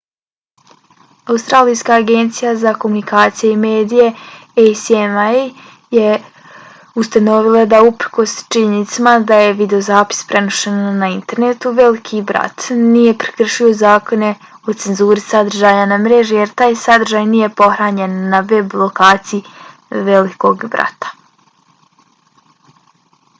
australijska agencija za komunikacije i medije acma je ustanovila da uprkos činjenici da je videozapis prenošen na internetu veliki brat nije prekršio zakone o cenzuri sadržaja na mreži jer taj sadržaj nije pohranjen na web lokaciji velikog brata